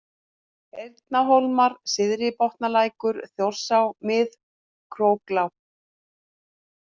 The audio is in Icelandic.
Eyrarhólmar, Syðri-Botnalækur, Þjórsá, Mið-Króklág